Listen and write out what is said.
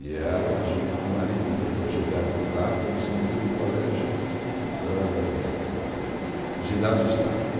E ela, junto com o marido, o doutor Gilberto Rato, eles tinham o Colégio âh âh Ginásio Stafford